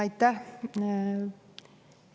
Aitäh!